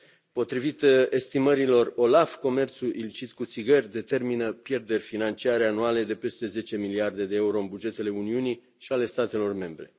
Potrivit estimărilor OLAF, comerțului ilicit cu țigări determină pierderi financiare anuale de peste zece miliarde de euro în bugetele Uniunii și ale statelor membre.